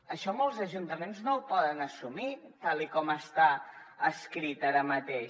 això molts ajuntaments no ho poden assumir tal com està escrit ara mateix